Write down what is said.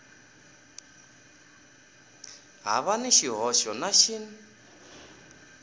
hava na xihoxo na xin